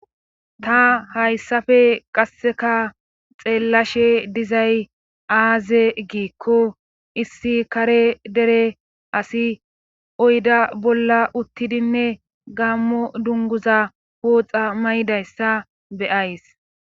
Ta hayssafe qasseka xeellashe dizay aaze giikko issi kare dere asi oyda bolla uttidinne gammo dunguza wooxa may'dayssa beyays